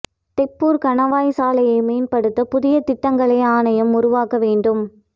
தொப்பூா் கணவாய் சாலையை மேம்படுத்த புதிய திட்டங்களை ஆணையம் உருவாக்க வேண்டும்